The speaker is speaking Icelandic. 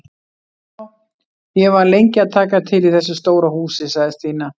Já, ég var lengi að taka til í þessu stóra húsi sagði Stína.